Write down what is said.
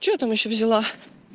что там ещё взяла